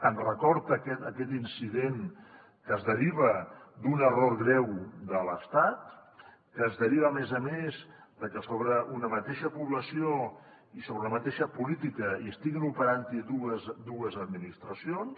ens recorda aquest incident que es deriva d’un error greu de l’estat que es deriva a més a més de que sobre una mateixa població i sobre una mateixa política estiguin operant dues administracions